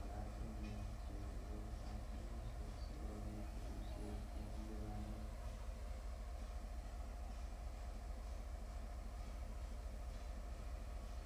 oratunwek cherupe kampunishek sokopit ripset ing lipanet